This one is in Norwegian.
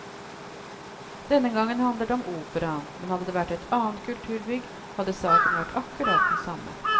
Denne gangen handler det om operaen, men hadde det vært et annet kulturbygg hadde saken vært akkurat den samme.